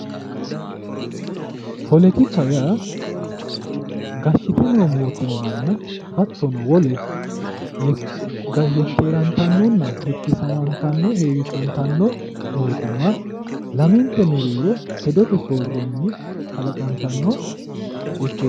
politika yaa gashshite no mootimmanna hattono wole yekkerantannonna hittisantanno woy heewisantanno mootimma lamente mereero hedote soorronni kalaqantanno yekkeero